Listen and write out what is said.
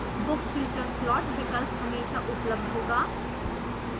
book future slot विकल्प हमेशा उपलब्ध होगा